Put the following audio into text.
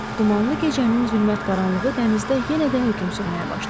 Dumanlı gecənin zülmət qaranlığı dənizdə yenə də hökm sürməyə başladı.